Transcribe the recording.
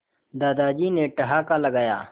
दादाजी ने ठहाका लगाया